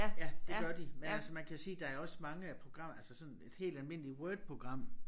Ja det gør de men altså man kan sige der er også mange af programmer altså sådan et helt almindeligt Word program